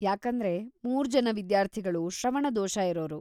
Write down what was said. ಯಾಕಂದ್ರೆ ಮೂರ್ಜನ ವಿದ್ಯಾರ್ಥಿಗಳು ಶ್ರವಣದೋಷ ಇರೋರು.